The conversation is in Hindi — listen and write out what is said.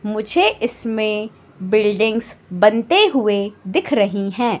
मुझे इसमें बिल्डिंगस बनते हुए दिख रही है।